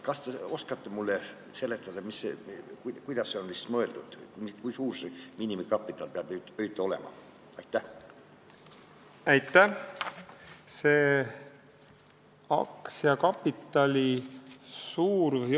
Kas te oskate mulle seletada, kuidas see on mõeldud, kui suur see miinimumkapital peab olema?